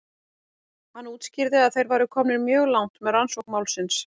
Hann útskýrði að þeir væru komnir mjög langt með rannsókn málsins.